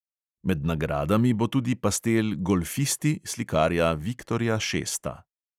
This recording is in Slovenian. Med nagradami bo tudi pastel golfisti slikarja viktorja šesta.